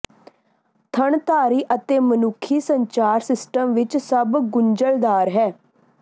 ਥਣਧਾਰੀ ਅਤੇ ਮਨੁੱਖੀ ਸੰਚਾਰ ਸਿਸਟਮ ਵਿੱਚ ਸਭ ਗੁੰਝਲਦਾਰ ਹੈ